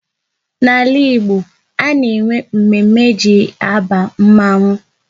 N'ala Igbo, a na-enwe mme mme e ji aba mmanwu